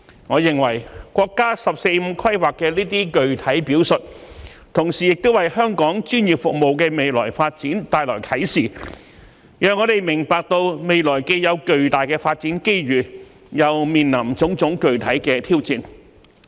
我認為，國家"十四五"規劃的這些具體表述，同時亦為香港專業服務的未來發展帶來啟示，讓我們明白到未來既有巨大的發展機遇，又面臨種種具體的挑戰。